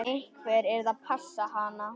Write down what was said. Einhver yrði að passa hann.